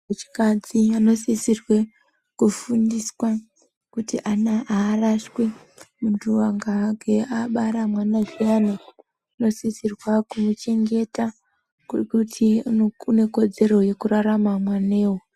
Antu echikadzi anosisirwe kufundiswa kuti ana aarashwi. Muntu akange abara mwana zviyani unosisirwa kumuchengeta ngekuti unekodzero yekurarama mwanewo.